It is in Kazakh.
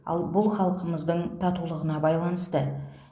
ал бұл халқымыздың татулығына байланысты